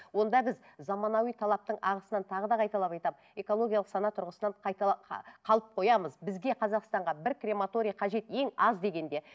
онда біз заманауи талаптың ағысынан тағы да қайталап айтамын экологиялық сана тұрғысынан қалып қоямыз бізге қазақстанға бір крематория қажет ең аз дегенде